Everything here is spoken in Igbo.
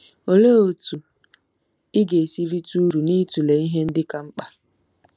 Olee otú ị ga-esi rite uru n'ịtụle ihe ndị ka mkpa?